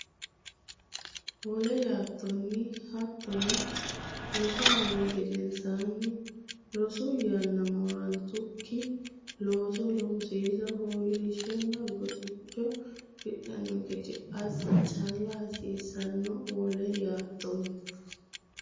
Wole yaattoonni Hoottono rosu mini gedensaanni rosu yanna moorannokki looso loosiisa fooliishshonna goxicho afidhanno gede assa calla hasiissanno Wole yaattoonni.